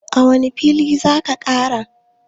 a wane fili za a Kara?